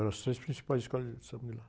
eram as três principais escolas de samba de lá.